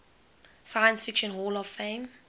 science fiction hall of fame